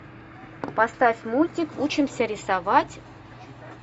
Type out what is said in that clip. поставь мультик учимся рисовать